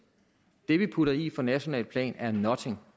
det vi putter i på nationalt plan er nothing